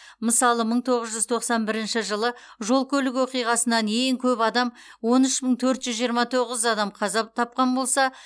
мысалы мың тоғыз жүз тоқсан бірінші жылы жол көлік оқиғасынан ең көп адам он үш мың төрт жүз жиырма тоғыз адам қаза тапқан болса